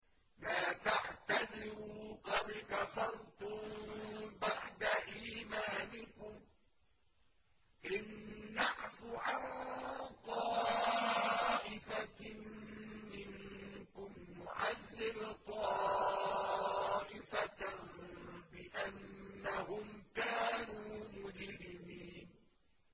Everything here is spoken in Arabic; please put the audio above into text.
لَا تَعْتَذِرُوا قَدْ كَفَرْتُم بَعْدَ إِيمَانِكُمْ ۚ إِن نَّعْفُ عَن طَائِفَةٍ مِّنكُمْ نُعَذِّبْ طَائِفَةً بِأَنَّهُمْ كَانُوا مُجْرِمِينَ